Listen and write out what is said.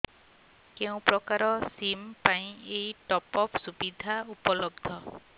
କେଉଁ ପ୍ରକାର ସିମ୍ ପାଇଁ ଏଇ ଟପ୍ଅପ୍ ସୁବିଧା ଉପଲବ୍ଧ